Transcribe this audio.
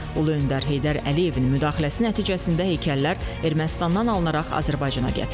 Ulu öndər Heydər Əliyevin müdaxiləsi nəticəsində heykəllər Ermənistandan alınaraq Azərbaycana gətirilib.